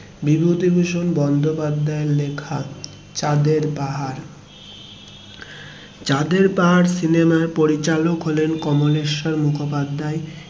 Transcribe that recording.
বিভূতিভূষণ বন্দোপাধ্যায়ের লেখা চাঁদের পাহাড়, চাঁদের পাহাড় সিনেমার পরিচালক হলেন কমলেশ্বর মুখোপাধ্যায়